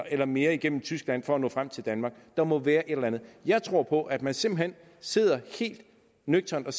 eller mere igennem tyskland for at nå frem til danmark der må være et eller andet jeg tror på at man simpelt hen sidder helt nøgternt og